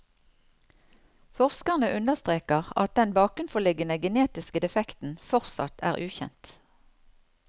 Forskerne understreker at den bakenforliggende genetiske defekten fortsatt er ukjent.